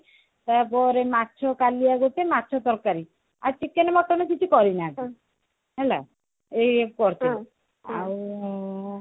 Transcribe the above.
ତାପରେ ମାଛ କାଲିଆ ଗୋଟେ ମାଛ ତରକାରୀ ଆଉ chicken mutton କିଛି କରିନାହାନ୍ତି ହେଲା ଏଇୟାକୁ କରିଥିଲେ ଆଉ